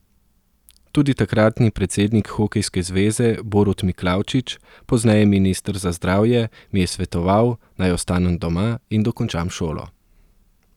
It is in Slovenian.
Tudi takratni predsednik hokejske zveze Borut Miklavčič, pozneje minister za zdravje, mi je svetoval, naj ostanem doma in dokončam šolo.